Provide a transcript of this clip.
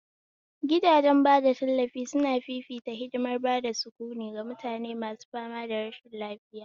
Gidajen bada tallafi suna fifita hadimar bada sukuni ga mutane masu fama da rashin lafiya